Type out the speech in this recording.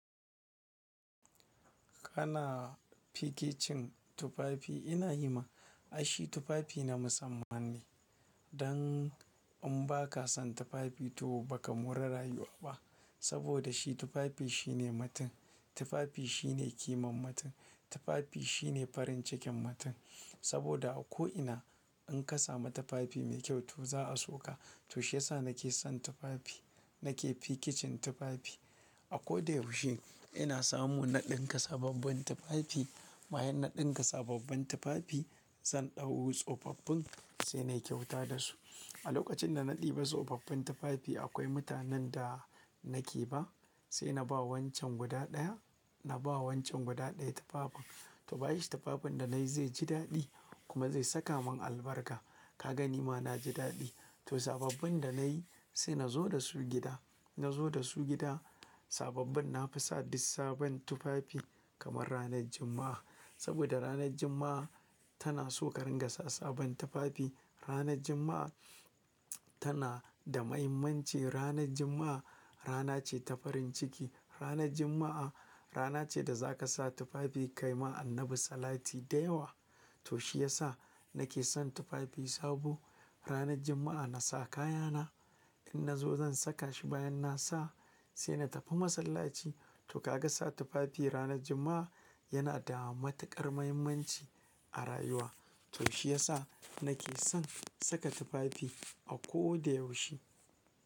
Kana fikicin tufafi, ina yi ma, ai shi tufafi na musamman ne. Dan in baka san tufafi to baka mora rayuwa ba. Saboda shi tufafi shine mutum. Tufafi shine kiman mutum Tufafi shine farin cikin matin. Saboda a ko ina in ka samu tufafi mai kyau to za'a so ka. To shiyasa nake son tufafi. Na ke fikicin tufafi. A ko da yaushe ina samu na dinka sababbin tufafi, bayan na dinka sababbin tufafi zan ɗau tsofaffin sai nayi kyauta da su. A lokacin da na ɗiba tsofaffin tufafi akwai mutanen da nake ba sai na ba wancan guda ɗaya, na ba wancan guda ɗaya tufafin. To bashi tufafin da nayi zai ji daɗi kuma zai saka man albarka. Kaga nima naji daɗi. To sababbin da nayi sai nazo da su gida. Nazo da su gida sababbin nafi sa duk sabon tufafi kamar ranar Juma'a. Saboda ranar Juma'a tana so ka ringa sa sabon tufafi. Ranar Juma'a tana da mahimmanci. Ranar Juma'a rana ce ta farin ciki. Ranar Juma'a rana ce da zaka sa tufafi kayi ma Annabi salati da yawa. To shiyasa na ke son tufafi sabo. Ranar Juma'a na sa kayana, in nazo zan saka shi bayan na sa sai na tafi masallaci. To kaga sa tufafi ranar Juma'a yana da matuƙar mahimmanci a rayuwa. To shiyasa na ke son saka tufafi a ko da yaushe.